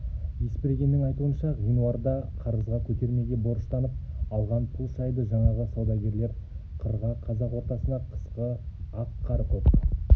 есбергеннің айтуынша ғинуарда қарызға көтермеге борыштанып алған пұл шайды жаңағы саудагерлер қырға қазақ ортасына қысқы ақ қар көк